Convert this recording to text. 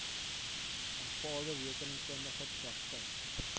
aanvaarde rekeningkundige praktyk